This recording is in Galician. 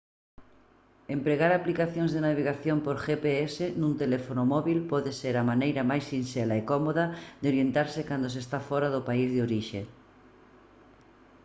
empregar aplicacións de navegación por gps nun teléfono móbil pode ser a maneira máis sinxela e cómoda de orientarse cando se está fóra do país de orixe